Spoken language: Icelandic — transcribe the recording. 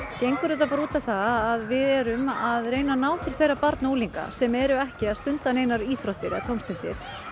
gengur út á það að við erum að reyna að ná til þeirra barna og unglinga sem eru ekki að stunda neinar íþróttir eða tómstundir